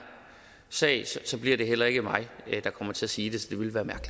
sag så bliver det heller ikke mig der kommer til at sige det